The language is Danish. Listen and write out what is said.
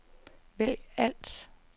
vælg alt